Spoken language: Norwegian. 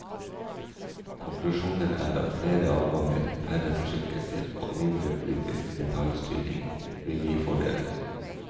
Konklusjonen er at flere avganger, færre forsinkelser og mindre politisk detaljstyring vil gi fordeler.